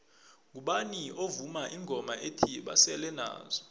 ngubani ovuma ingoma ethi basele nazo